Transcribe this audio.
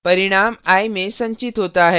परिणाम i में संचित होता है